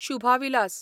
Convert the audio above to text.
Shubha Vilas